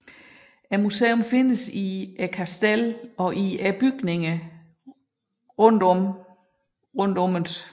Museet findes i Kastellet og i bygningerne omkring det